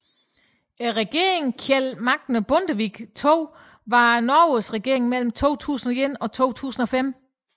Regeringen Kjell Magne Bondevik II var Norges regering mellem 2001 og 2005